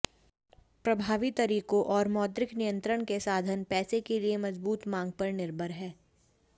प्रभावी तरीकों और मौद्रिक नियंत्रण के साधन पैसे के लिए मजबूत मांग पर निर्भर हैं